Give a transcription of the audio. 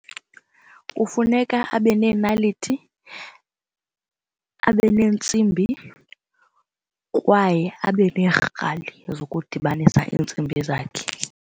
Kufuneka abe neenaliti abe neentsimbi kwaye abe neerhali zokudibanisa iintsimbi zakhe.